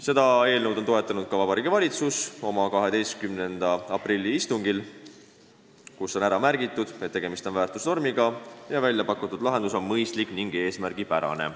" Seda eelnõu toetas oma 12. aprilli istungil ka Vabariigi Valitsus, kes on märkinud, et tegemist on väärtusnormiga ja väljapakutud lahendus on mõistlik ning eesmärgipärane.